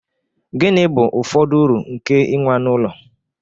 Gịnị bụ ụfọdụ uru nke inwe anụ ụlọ?